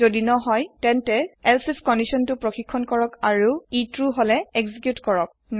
যদি নহয় তেন্তে এলছে আইএফ কান্দিসন তু ছেক হই আৰু এক্সিকিওত হই যদি কান্দিসন তু সুদ্ধ হয়